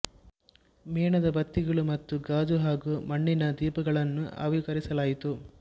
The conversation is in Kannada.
ಮೇಣದ ಬತ್ತಿಗಳು ಮತ್ತು ಗಾಜು ಹಾಗೂ ಮಣ್ಣಿನ ದೀಪಗಳನ್ನೂ ಆವಿಷ್ಕರಿಸಲಾಯಿತು